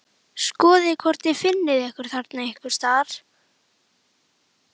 Skoðið hvort þið finnið ykkur þarna einhvers staðar